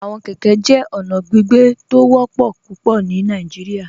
Awọn kẹkẹ jẹ ọna gbígbẹ̀ tó ó wọpọ̀ pupọ̀ ní Nàìjíríà.